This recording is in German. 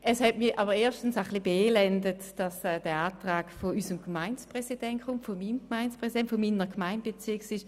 Es hat mich ein bisschen beelendet, dass dieser Antrag von meinem Gemeindepräsidenten gestellt worden ist.